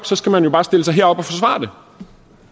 så skal man jo bare stille sig herop og